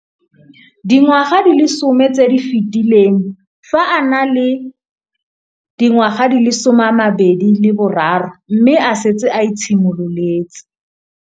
Dingwaga di le 10 tse di fetileng, fa a ne a le dingwaga di le 23 mme a setse a itshimoletse